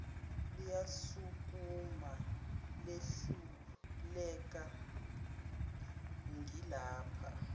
liyasukuma lehluleka ngilapha